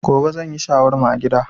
Gobe zan yi shawarma a gida.